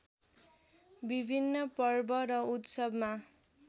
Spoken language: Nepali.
विभिन्न पर्व र उत्सवमा